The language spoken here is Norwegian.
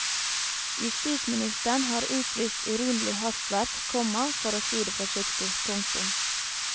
Justisministeren har utvist urimelig hastverk, komma for å si det forsiktig. punktum